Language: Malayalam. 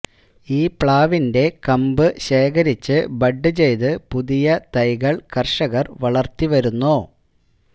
ഈ പ്ലാവിന്റെ കമ്പ് ശേഖരിച്ച് ബഡ് ചെയ്ത് പുതിയ തൈകൾ കർഷകർ വളർത്തി വരുന്നു